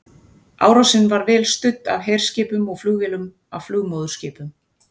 Árásin var vel studd af herskipum og flugvélum af flugmóðurskipum.